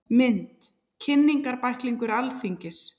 Mynd: Kynningarbæklingur Alþingis.